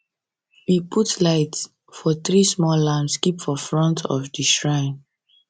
we put light for three small lamps keep for front of shrine